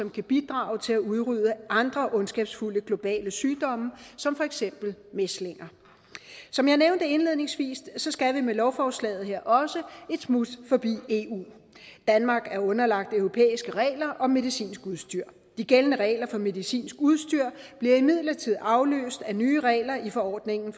kan bidrage til at udrydde andre ondskabsfulde globale sygdomme som for eksempel mæslinger som jeg nævnte indledningsvis skal vi med lovforslaget her også et smut forbi eu danmark er underlagt europæiske regler om medicinsk udstyr de gældende regler for medicinsk udstyr bliver imidlertid afløst af nye regler i forordningen